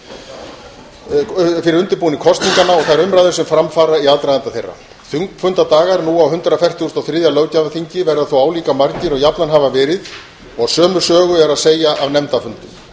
kosninganna og þær umræður sem fram fara í aðdraganda þeirra þingfunda dagar nú á hundrað fertugasta og þriðja löggjafarþingi verða þó álíka margir og jafnan hafa verið og sömu sögu er að segja af nefndarfundum